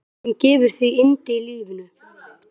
Allt sem gefur því yndi í lífinu.